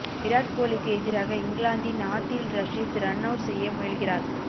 விராட் கோலிக்கு எதிராக இங்கிலாந்தின் ஆதில் ரஷீத் ரன்அவுட் செய்ய முயல்கிறார்